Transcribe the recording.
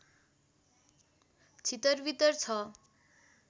छितरवितर छ